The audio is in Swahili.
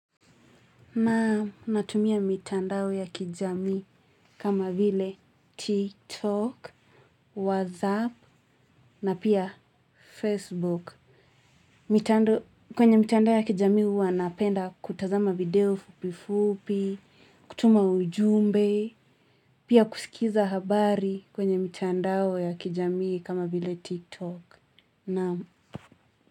Na natumia mitandao ya kijamii kama vile tiktok, whatsapp na pia facebook. Mitando kwenye mitandao ya kijamii huwa napenda kutazama video fupi fupi, kutuma ujumbe, pia kusikiza habari kwenye mitandao ya kijamii kama vile tiktok. Na.